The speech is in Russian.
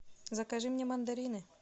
закажи мне мандарины